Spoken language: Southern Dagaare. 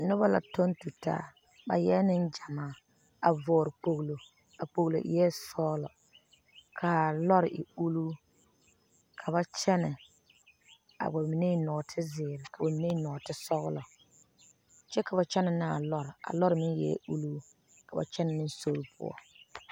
Noba la toŋ tu taa ba eɛ Nengyamaa a vɔgeli kpolo a kpolo eɛ sɔglɔ kaa lɔr e ulluu ka ba kyɛne ka ba mine eŋ nɔɔte zeɛre. ka ba mine. eŋe eŋe nɔɔte. sɔglɔ kyɛ ka ba kyɛne ne a lɔr a lɔr meŋ eɛ uluu ka ba kyɛne ne sori poɔ.